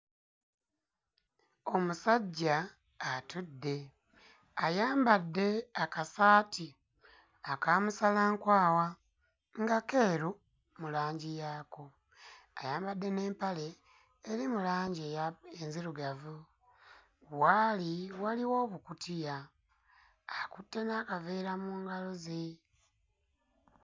Omusajja atudde ayambadde akasaati ayambadde akasaati aka musalankwawa nga keeru mu langi yaako, ayambadde n'empale eri mu langi eya enzirugavu. W'ali waliwo obukutiya akutte n'akaveera mu ngalo ze.